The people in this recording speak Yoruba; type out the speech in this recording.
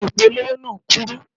Ìpolówó náà kúrú.